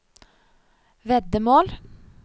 veddemål